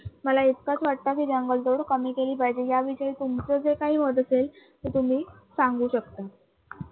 मला इतकाच वाटतं कि जंगलतोड कमी केली पाहिजे, या विषयी तुमचं जर काही मत असेल तर तुम्ही सांगू शकता.